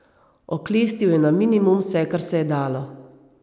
Oklestil je na minimum vse kar se je dalo.